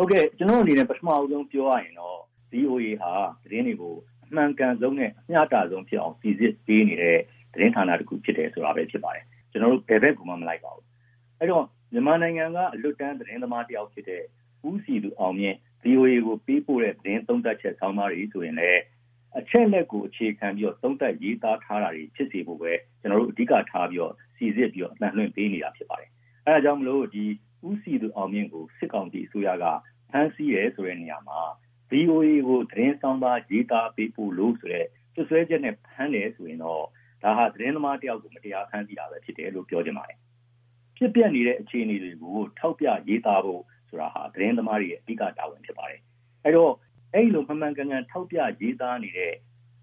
ဟုတ်ကဲ့။ ကျနော့်အနေနဲ့ ပထမဦးဆုံးပြောရရင်တော့ "ဗွီအိုအေဟာ သတင်းတွေကို အမှန်ကန်ဆုံးနဲ့ အမျှတဆုံးဖြစ်အောင် စိစစ် ဖော်ပြပေးနေတဲ့ သတင်းဌာန တခုပဲဖြစ်တယ်ဆိုတာပဲ" ဖြစ်ပါတယ်။ "ကျနော်တို့ ဘယ်ဘက်ကိုမှ မလိုက်ပါဘူး"။ အဲ့ဒီ့တော့ မြန်မာနိုင်ငံက အလွတ်တန်း သတင်းသမားတယောက်ဖြစ်တဲ့ ဦးစည်သူအောင်မြင့်- ဗွီအိုအေကို ပေးပို့တဲ့သတင်းသုံးသပ်ချက်ဆောင်းပါးတွေဆိုရင်လည်း အချက်အလက်ကို အခြေခံပြီး သုံးသပ်ရေးသားထားတာတွေ ဖြစ်စေဖို့ပဲ ကျနော်တို့ အဓိကထား စိစစ်ပြီးတော့ အသံလွှင့်ပေးနေတာဖြစ်ပါတယ်။ အဲဒါကြောင့်မို့လို့ “ဦးစည်သူအောင်မြင့်ကို စစ်ကောင်စီအစိုးရက ဖမ်းဆီးတယ်” ဆိုတဲ့နေရာ မှာ "ဗွီအိုအေကို သတင်းဆောင်းပါး ရေးသားပေးပို့လို့-ဆိုတဲ့ စွပ်စွဲချက်နဲ့ ဖမ်းတယ်ဆိုရင်တော့ဒါဟာ သတင်းသမားတယောက်ကို မတရားဖမ်းဆီးတာပဲဖြစ်တယ်"လို့ ပြောချင်ပါတယ်။ “ဖြစ်ပျက်နေတဲ့အခြေအနေတွေကို ထောက်ပြရေးသားဖို့ဆိုတာဟာ သတင်းသမားတွေရဲ့ အဓိက တာဝန်ပဲဖြစ်ပါတယ်။ အဲဒီတော့ အဲဒီလို မှန်မှန်ကန်ကန်ထောက်ပြရေးသားနေတဲ့